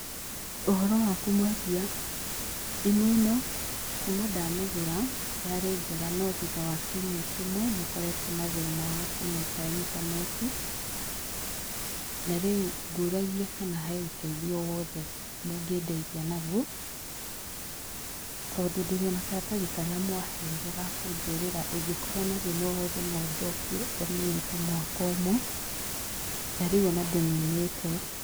Ũhoro waku mwendia? Thimũ ĩno kuma ndamĩgũra yarĩ njega no thutha wa kiumia kĩmwe nĩkorerwo na thĩna wa kũnyita intaneti na rĩu ngũragia kana he ũteithio o wothe mũngĩndeithia naguo tondũ ndĩrĩona karatathi karĩa mwaheire ga kũnjĩrĩra ĩngĩkorwo na thĩna o wothe atĩ no njokie ona ĩtaninĩte mwaka ũmwe na rĩu ona ndĩninĩte.